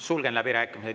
Sulgen läbirääkimised.